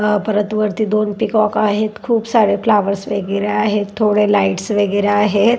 परत वरती दोन पीकॉक आहेत. खुप सारे फ्लावर्स वगैरे आहेत. थोड़े लाइट्स वगैरे आहेत.